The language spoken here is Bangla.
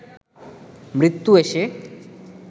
মৃত্যু এসে